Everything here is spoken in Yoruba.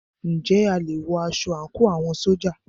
Ǹjẹ́ a lè wọ aṣọ àńkò àwọn ṣójà?